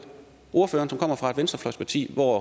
ordføreren som kommer fra et venstrefløjsparti hvor